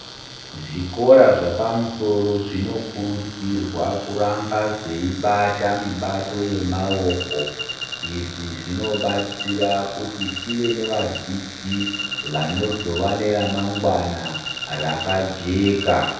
Zvikora zvepamusoro zvinokurudzirwa kuramba zveibata mibato yemaoko , izvi zvinobatsira kuti tive nevadzidzi vanozova neramangwana rakajeka